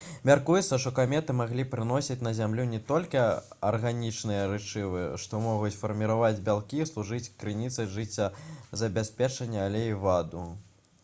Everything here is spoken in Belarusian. мяркуецца што каметы маглі прыносіць на зямлю не толькі арганічныя рэчывы што могуць фарміраваць бялкі і служыць крыніцай жыццезабеспячэння але і ваду